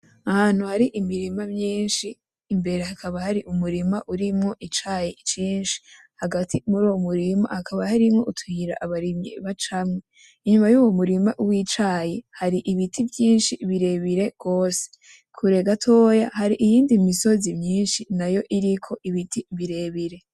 Ahantu hari imirima myinshi imbere hakaba harimwo umurima wicayi cinshi hagati muri uwo murima hakaba harimwo utuyira abarimyi bacamwo inyuma yuwo murima wicayi hari ibiti vyinshi birebire gose imbere gatoya hari iyindi misozi myinshi nayo iriko initi birebire